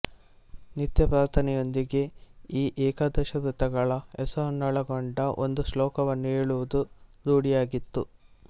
ನಿತ್ಯ ಪ್ರಾರ್ಥನೆಯೊಂದಿಗೆ ಈ ಏಕಾದಶವ್ರತಗಳ ಹೆಸರನ್ನೊಳಗೊಂಡ ಒಂದು ಶ್ಲೋಕವನ್ನು ಹೇಳುವುದು ರೂಢಿಯಾಗಿತ್ತು